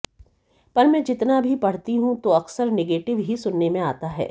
पर मैं जितना भी पढ़ती हूं तो अक्सर निगेटिव ही सुनने में आता है